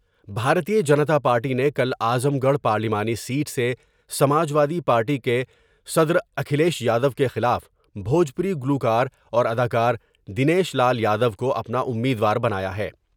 بھارتیہ Janata party نے کل Azamgarh پارلیمانی سیٹ سے سماجوادی پارٹی کے صدر اکھلیش یادو کے خلاف بھوجپوری گلوکار اور ادا کار دنیش لال یادو کو اپنا امیدوار بنایا ہے ۔